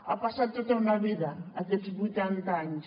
ha passat tota una vida aquests vuitanta anys